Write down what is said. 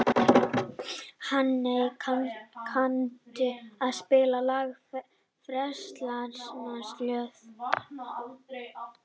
Hanney, kanntu að spila lagið „Frelsarans slóð“?